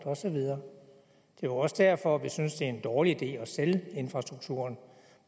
og så videre det er også derfor vi synes det er en dårlig idé at sælge infrastrukturen